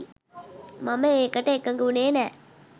මම ඒකට එකඟ වුණේ නෑ